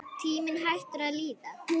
Tíminn hættur að líða.